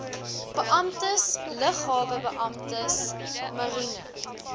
beamptes luggehaltebeamptes mariene